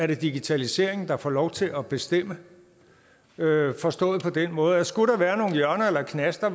det digitaliseringen der får lov til at bestemme forstået på den måde at skulle der være nogle hjørner eller knaster